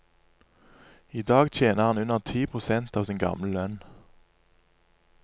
I dag tjener han under ti prosent av sin gamle lønn.